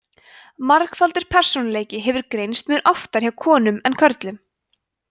margfaldur persónuleiki hefur greinst mun oftar hjá konum en körlum